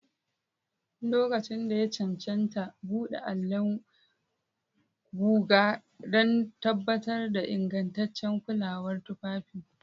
Lokacin da ya cancanta, buɗe allon guga don tabbatar da ingantaccen kulawar tufafi.